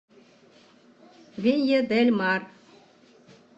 винья дель мар